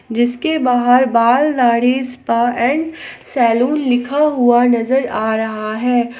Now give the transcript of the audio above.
जिसके बाहर बाल दाढ़ी स्पा एंड सैलून लिखा हुआ नजर आ रहा है।